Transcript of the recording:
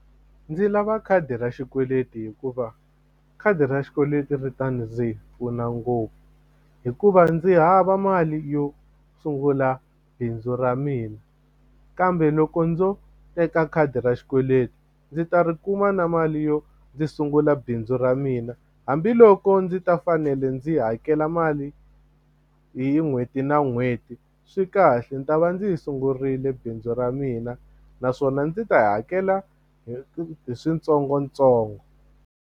Ndzi lava khadi ra xikweleti hikuva khadi ra xikweleti ri ta ndzi pfuna ngopfu hikuva ndzi hava mali yo sungula bindzu ra mina kambe loko ndzo teka khadi ra xikweleti ndzi ta ri kuma na mali yo ndzi sungula bindzu ra mina hambiloko ndzi ta fanele ndzi hakela mali hi n'hweti na n'hweti swi kahle ni ta va ndzi yi sungurile bindzu ra mina naswona ndzi ta hakela hi switsongotsongo.